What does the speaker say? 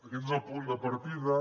aquest és el punt de partida